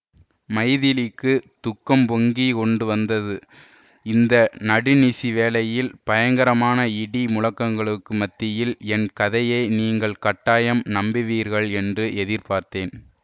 மைதிலிக்குத் துக்கம் பொங்கி கொண்டு வந்தது இந்த நடுநிசி வேளையில் பயங்கரமான இடி முழக்கங்களுக்கு மத்தியில் என் கதையை நீங்கள் கட்டாயம் நம்புவீர்கள் ளென்று எதிர்பார்த்தேன்